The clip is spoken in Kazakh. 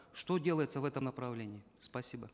что делается в этом направлении спасибо